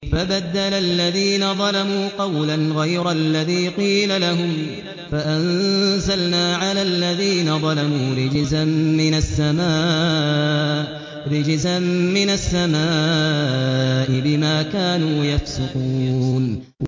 فَبَدَّلَ الَّذِينَ ظَلَمُوا قَوْلًا غَيْرَ الَّذِي قِيلَ لَهُمْ فَأَنزَلْنَا عَلَى الَّذِينَ ظَلَمُوا رِجْزًا مِّنَ السَّمَاءِ بِمَا كَانُوا يَفْسُقُونَ